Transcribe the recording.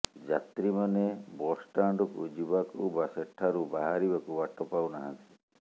ଯାତ୍ରୀମାନେ ବସ୍ଷ୍ଟାଣ୍ଡକୁ ଯିବାକୁ ବା ସେଠାରୁ ବାହାରିବାକୁ ବାଟ ପାଉନାହାନ୍ତି